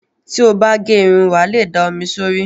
Tí o bá gẹ irun, wà á le da omi sórí.